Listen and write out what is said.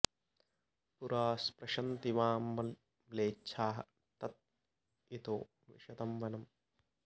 पुरा स्पृशन्ति वां म्लेच्छाः तत् इतो विशतं वनम्